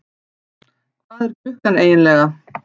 Hvað er klukkan eiginlega?